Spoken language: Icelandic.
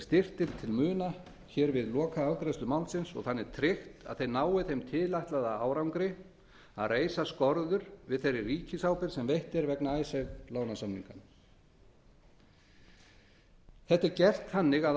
styrkt til muna við lokaafgreiðslu málsins og þannig tryggt að þau nái þeim tilætlaða árangri að reisa skorður við þeirri ríkisábyrgð sem veitt er vegna icesave lánasamninganna þetta er gert þannig að